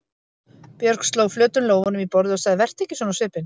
Björg sló flötum lófunum í borðið og sagði: Vertu ekki svona á svipinn.